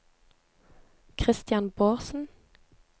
Kristian Bårdsen